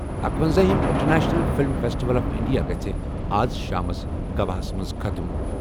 اکونزا ہِم international film festival of India گَژھِ آز شامَس گواہَس منٛز ختٕم۔